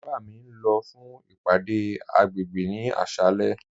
Baba mi n lọ fún ìpàdé agbègbè ni àṣàlẹ̀.